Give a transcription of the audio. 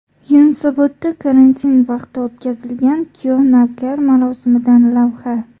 Yunusobodda karantin vaqti o‘tkazilgan kuyov-navkar marosimidan lavha.